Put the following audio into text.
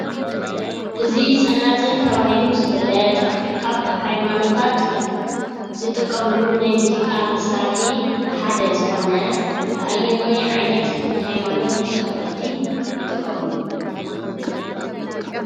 እዚ ፀናፅል ተባህሉ ዝፍለጥ ካብ ሃይማኖታት ዝጥቀምሉ ናይ ሙዚቃ መሳሪሒ ሓደ ዝኮነ ኣየናይ ዓይነት ናይ ሃይማኖት ተከተልቲ ይጥቀምሉ ?